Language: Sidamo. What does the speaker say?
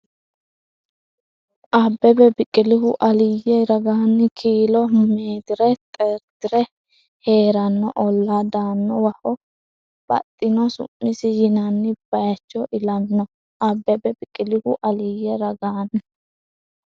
Abbebe Biqilihu Aliyye ragaanni kiilo meetire xeerti’re hee’ranno olla Dannawaho baxxino su’misinni yinanni bay- icho ilamino Abbebe Biqilihu Aliyye ragaanni.